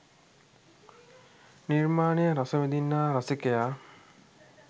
නිර්මාණය රස විඳින්නා රසිකයා